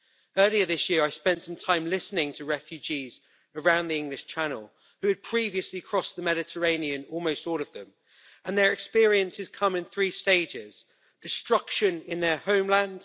Earlier this year I spent some time listening to refugees around the English Channel who had previously crossed the Mediterranean, almost all of them, and their experiences come in three stages destruction in their homeland